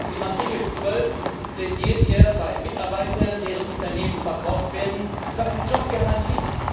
In Artikel 12 plädieren wir bei Mitarbeitern, deren Unternehmen verkauft werden, für eine Jobgarantie.